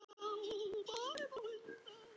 Fyrst tæknideildin hefur lokið störfum.